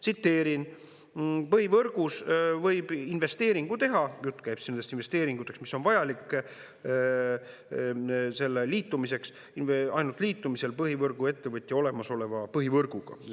Tsiteerin: põhivõrgus võib investeeringu teha – jutt käib nendest investeeringutest, mis on vajalikud selle liitumiseks – ainult liitumisel põhivõrguettevõtja olemasoleva põhivõrguga.